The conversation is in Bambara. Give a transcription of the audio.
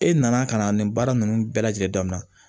E nana ka na nin baara nunnu bɛɛ lajɛlen daminɛ